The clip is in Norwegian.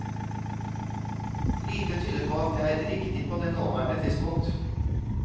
Lite tyder på at det er riktig på det nåværende tidspunkt.